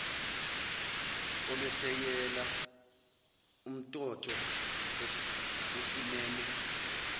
olwesekela umntotho osimeme